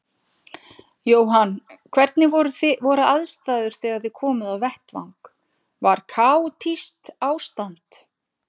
Jóhann: Hvernig voru aðstæður þegar þið komuð á vettvang, var kaotískt ástand?